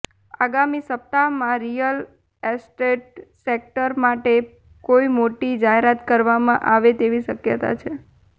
આગામી સપ્તાહમાં real estate sector માટે પણ કોઇ મોટી જાહેરાત કરવામાં આવે તેવી શક્યતા છે